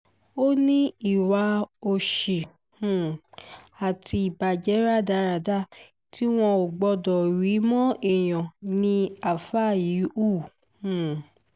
ó ní ìwà òsì um àti ìbàjẹ́ rádaràda tí wọn ò gbọ́dọ̀ rí mọ́ èèyàn ni àáfáà yìí hù um